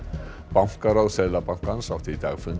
bankaráð Seðlabankans átti í dag fund